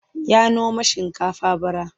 Ya noma shinkafa bara.